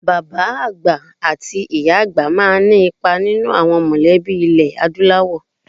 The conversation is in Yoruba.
Àwọn bàbá àti ìyá àgbà máa ní ipa nínú àwọn mọ̀lẹ́bí ilẹ̀ Adúláwọ̀.